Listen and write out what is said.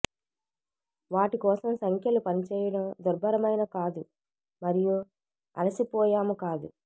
వాటి కోసం సంఖ్యలు పనిచేయడం దుర్భరమైన కాదు మరియు అలసిపోయాము కాదు